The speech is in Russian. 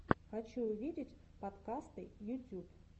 хочу увидеть подкасты ютюб